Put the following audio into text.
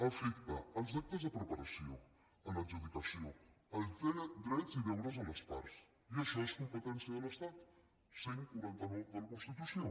afecta els actes de preparació l’adjudicació altera drets i deures de les parts i això és competència de l’estat cent i quaranta nou de la constitució